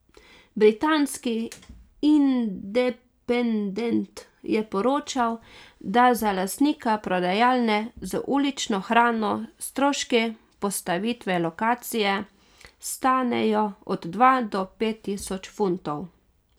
Britanski Independent je poročal, da za lastnika prodajalne z ulično hrano stroški postavitve lokacije stanejo od dva do pet tisoč funtov.